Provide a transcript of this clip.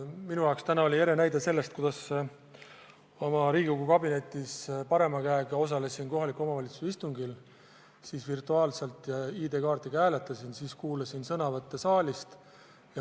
Minu jaoks oli selle ere näide täna, kui ma oma Riigikogu kabinetis osalesin virtuaalselt kohaliku omavalitsuse istungil ja parema käega ID-kaardiga hääletasin, samas aga kuulasin sõnavõtte siin saalis.